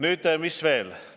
Mis veel?